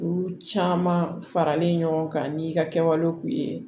Olu caman faralen ɲɔgɔn kan n'i ka kɛwale k'u ye